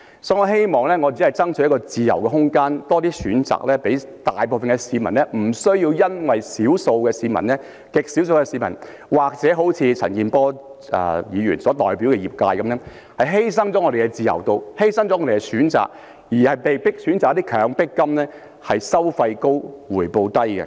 所以，我希望為市民爭取自由空間，可以有更多的選擇，令大部分的市民不需要因極少數的市民或如陳健波議員所代表的業界而把他們的自由度和選擇犧牲，被迫選擇一些收費高而回報低的"強迫金"。